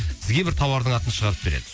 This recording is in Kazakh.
сізге бір тауардың атын шығарып береді